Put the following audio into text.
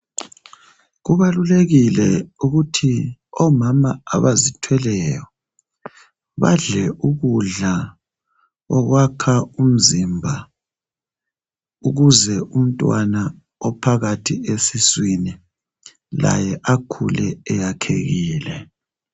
Kubalulekile ukuthi omama abazithweleyo badle kudla okwakha umzimba ukuze umntwana ophakathi esiswini akhule eyakhekile